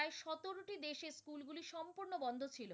সম্পূর্ণ বন্ধ ছিল।